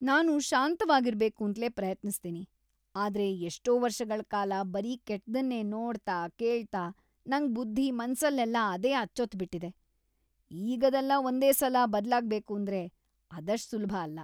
ನಾನು ಶಾಂತವಾಗಿರ್ಬೇಕೂಂತ್ಲೇ ಪ್ರಯತ್ನಿಸ್ತೀನಿ, ಆದ್ರೆ ಎಷ್ಟೋ ವರ್ಷಗಳ್‌ ಕಾಲ ಬರೀ ಕೆಟ್ದನ್ನೇ ನೋಡ್ತಾ, ಕೇಳ್ತಾ ನಂಗ್‌ ಬುದ್ಧಿ- ಮನ್ಸಲ್ಲೆಲ್ಲ ಅದೇ ಅಚ್ಚೊತ್ಬಿಟಿದೆ, ಈಗದೆಲ್ಲ ಒಂದೇ ಸಲ ಬದ್ಲಾಗ್ಬೇಕೂಂದ್ರೆ ಅದಷ್ಟ್‌ ಸುಲ್ಭ ಅಲ್ಲ.